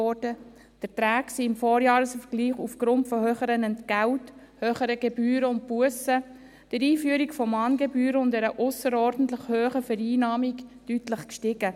Die Erträge sind im Vorjahresvergleich aufgrund von höheren Entgelten, höheren Gebühren und Bussen, der Einführung von Mahngebühren und einer ausserordentlich hohen Vereinnahmung deutlich gestiegen.